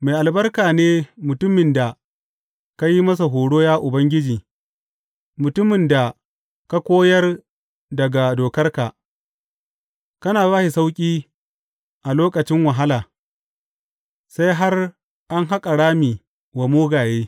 Mai albarka ne mutumin da ka yi masa horo, ya Ubangiji, mutumin da ka koyar daga dokarka; kana ba shi sauƙi a lokacin wahala, sai har an haƙa rami wa mugaye.